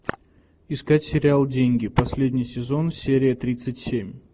искать сериал деньги последний сезон серия тридцать семь